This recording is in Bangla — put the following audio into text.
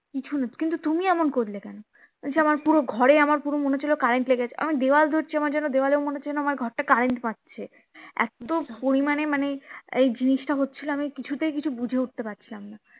কিছু না কিন্তু তুমি এমন করলে কেন আমি বলছি আমার পুরো ঘরেআমার যেন মনে হচ্ছিলো current লেগেছে দেওয়াল ধরছি আমার যেন দেওয়ালেও মনে হচ্ছে যেন আমার ঘর টা current মারছে এতো পরিমানে মানে আর এই জিন্সটা হচ্ছিলো আমি কিছুতেই কিছু বুঝে উঠতে পারছিলাম না